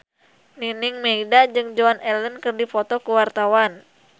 Nining Meida jeung Joan Allen keur dipoto ku wartawan